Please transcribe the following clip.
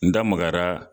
N da magara